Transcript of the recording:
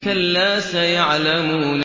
كَلَّا سَيَعْلَمُونَ